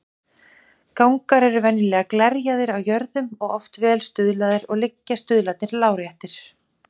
Gangar eru venjulega glerjaðir á jöðrum og oft vel stuðlaðir, og liggja stuðlarnir láréttir.